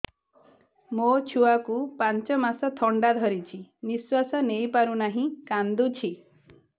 ମୋ ଛୁଆକୁ ପାଞ୍ଚ ମାସ ଥଣ୍ଡା ଧରିଛି ନିଶ୍ୱାସ ନେଇ ପାରୁ ନାହିଁ କାଂଦୁଛି